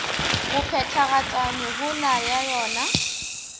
go phethagatša mehola ya yona